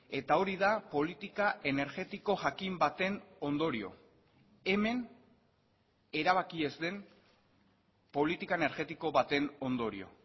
eta hori da politika energetiko jakin baten ondorio hemen erabaki ez den politika energetiko baten ondorio